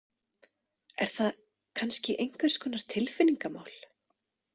Er það kannski einhvers konar tilfinningamál?